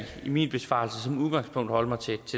min besvarelse som udgangspunkt holde mig til